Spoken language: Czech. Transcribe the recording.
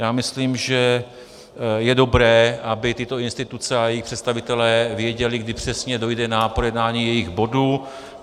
Já myslím, že je dobré, aby tyto instituce a jejich představitelé věděli, kdy přesně dojde na projednání jejich bodu.